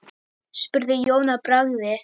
spurði Jón að bragði.